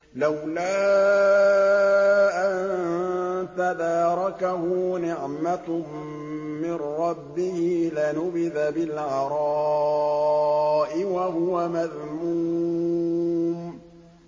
لَّوْلَا أَن تَدَارَكَهُ نِعْمَةٌ مِّن رَّبِّهِ لَنُبِذَ بِالْعَرَاءِ وَهُوَ مَذْمُومٌ